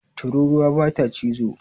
Tururuwa bata cizo